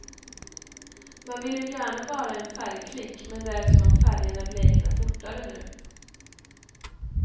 Man vill ju gärna vara en färgklick men det är som om färgerna bleknar fortare nu.